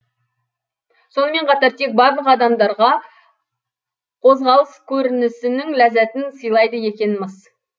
сонымен қатар тек барлық адамдарға қозғалыс көрінісінің ләззатын сыйлайды екен мыс